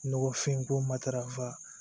Nɔgɔfin ko matarafa